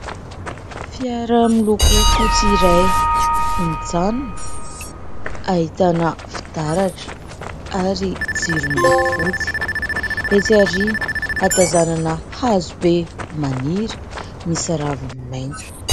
Fiara miloko fotsy iray mijanona, ahitana fitaratra ary jiro miloko fotsy. Etsy aoriana ahatazanana hazo be maniry misy raviny maitso.